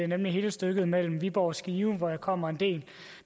nemlig hele stykket mellem viborg og skive hvor jeg kommer en del